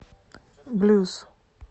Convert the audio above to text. блюз